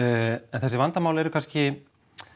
en þessi vandamál eru kannski